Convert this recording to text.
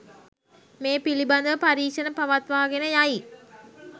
මේ පිළිබඳව පරීක්‍ෂණ පවත්වාගෙන යයි.